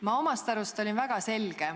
Ma omast arust väljendusin väga selgelt.